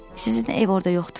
Sizin ev orda yoxdur.